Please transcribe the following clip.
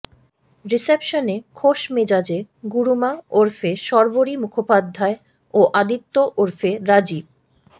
রিসেপশনে খোসমেজাজে গুরুমা ওরফে শর্বরী মুখোপাধ্যায় ও আদিত্য ওরফে রাজীব